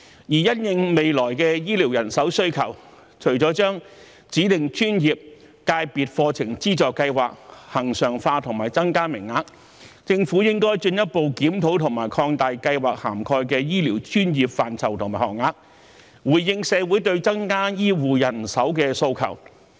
因應未來的醫療人手需求，除了將指定專業/界別課程資助計劃恆常化和增加名額外，政府還應進一步檢討和擴大計劃涵蓋的醫療專業範疇和學額，以回應社會對增加醫護人手的訴求。